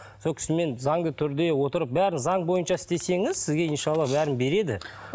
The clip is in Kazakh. сол кісімен заңды түрде отырып бәрін заң бойынша істесеңіз сізге бәрін береді